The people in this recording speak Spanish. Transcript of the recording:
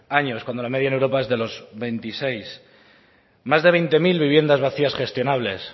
años cuando la media en europa es de veintiséis más de veinte mil viviendas vacías gestionables